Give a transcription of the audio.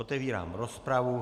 Otevírám rozpravu.